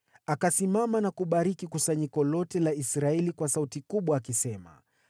Akasimama na kubariki kusanyiko lote la Israeli kwa sauti kubwa akisema: